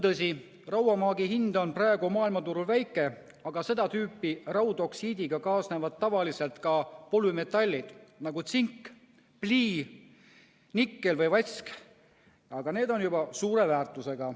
Tõsi, rauamaagi hind on praegu maailmaturul väike, aga seda tüüpi raudoksiidiga kaasnevad tavaliselt ka polümetallid, nagu tsink, plii, nikkel või vask, ja need on juba suure väärtusega.